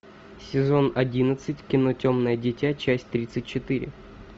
сезон одиннадцать кино темное дитя часть тридцать четыре